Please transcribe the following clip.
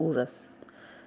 ужас